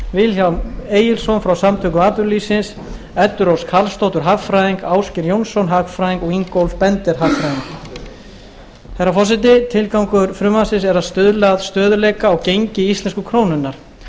vilhjálm egilsson frá samtökum atvinnulífsins eddu rós karlsdóttur hagfræðing ásgeir jónsson hagfræðing og ingólf bender hagfræðing herra forseti tilgangur frumvarpsins er að stuðla að stöðugleika á gengi íslensku krónunnar